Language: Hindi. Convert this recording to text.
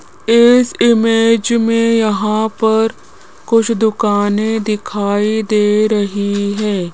इस इमेज मे यहां पर कुछ दुकानें दिखाई दे रही है।